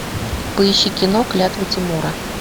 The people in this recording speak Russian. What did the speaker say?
поищи кино клятва тимура